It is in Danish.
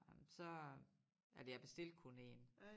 Ej men så at jeg bestilte kun én